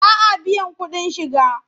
Ba a biyan kuɗin shiga.